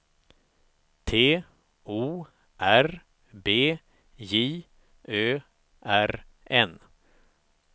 T O R B J Ö R N